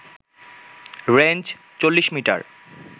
range ৪০ metre